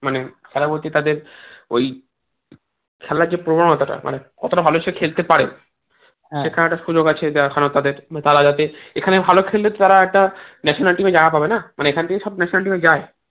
খেলা বলতে তাদের ওই খেলার যে প্রবণতা টা মানে কতটা ভালো সে খেলতে পারে সেখানে একটা সুযোগ আছে দেখানোর তাদের তারা যাতে এখানেও ভালো খেললে তারা একটা national team এ এখান থেকে সব national team এ যায়